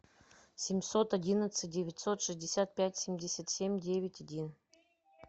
семьсот одиннадцать девятьсот шестьдесят пять семьдесят семь девять один